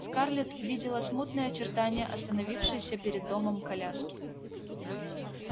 скарлетт видела смутные очертания остановившейся перед домом коляски